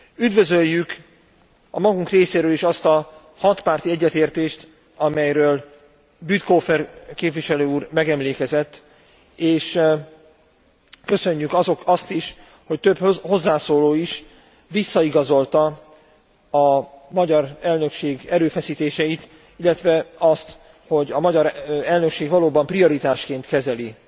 Üdvözöljük a magunk részéről is azt a hatpárti egyetértést, amelyről Bütikofer képviselőúr megemlékezett, és köszönjük azt is, hogy több hozzászóló is visszaigazolta a magyar elnökség erőfeszítéseit, illetve azt, hogy a magyar elnökség valóban prioritásként kezeli